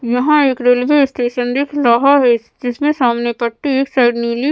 यहाँ एक railway station दिख रहा है जिसमें सामने पट्टी एक साइड नीली --